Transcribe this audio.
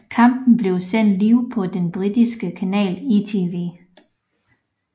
Kampen blev sendt live på den britiske kanal ITV